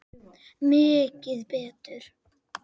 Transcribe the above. Mikið betur.